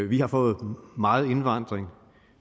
vi har fået meget indvandring